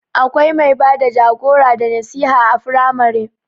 Akwai mai bada jagora da nasiha a firamare